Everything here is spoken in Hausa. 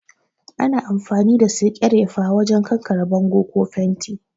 Ana amfani da sekerefa wajen kankare bango ko fenti